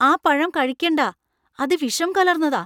ആ പഴം കഴിക്കണ്ടാ. അത് വിഷം കലർന്നതാ .